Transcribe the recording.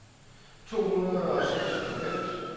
to hundrede og seksoghalvfems